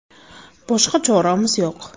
Boshqa choramiz yo‘q”.